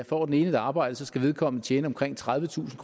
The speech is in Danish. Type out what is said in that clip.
får et arbejde skal vedkommende tjene omkring tredivetusind